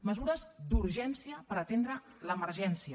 mesures d’urgència per atendre l’emergència